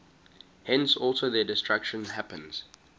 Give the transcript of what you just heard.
thence also their destruction happens